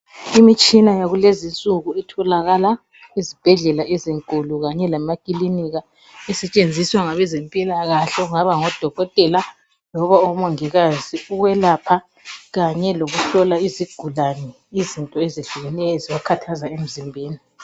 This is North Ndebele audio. Imitshina yakulezi insuku etholakala ezibhedlela ezinkulu kanye lemakilinika, isetshenziswa ngabe zempilakahle okungaba ngodokotela loba omongikazi ukwelapha kanye lokuhlola izigulani izinto ezehlukeneyo ezibakhathaza emzimbeni.